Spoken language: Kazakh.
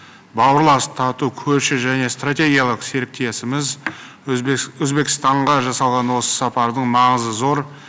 бауырлас тату көрші және стратегиялық серіктесіміз өзбекстанға жасалған осы сапардың маңызы зор